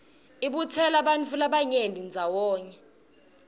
ibutsela bantfu labanyenti ndzawonye